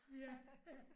Ja ja